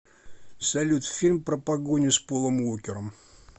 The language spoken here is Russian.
салют фильм про погони с полом уокером